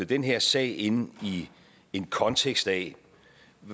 den her sag ind i en kontekst af